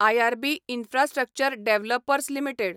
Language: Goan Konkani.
IRB infrastructure developers limited